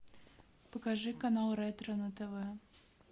покажи канал ретро на тв